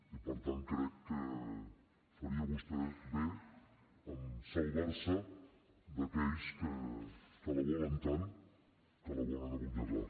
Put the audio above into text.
i per tant crec que faria vostè bé en salvar se d’aquells que la volen tant que la volen abonyegar